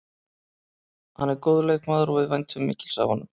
Hann er góður leikmaður og við væntum mikils af honum.